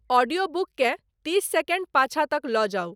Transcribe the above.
audio book केँ तीस second पाँछा तक लऽ जाऊ